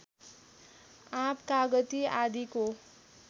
आँप कागति आदिको